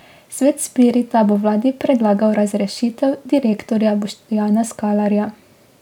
Svet Spirita bo vladi predlagal razrešitev direktorja Boštjana Skalarja.